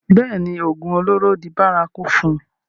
bẹ́ẹ̀ni, ògùn olóró di bárakú fún un